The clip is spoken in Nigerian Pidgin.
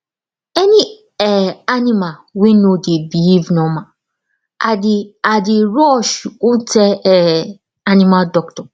any um animal wey no dey behave normal i dey i dey rush go tell um animal doctor